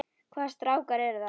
Hvaða strákar eru það?